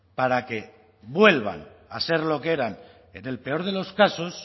para que vuelvan a ser lo que eran en el peor de los casos